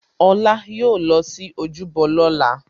Olá yóò lọ sí ojúbọ lóla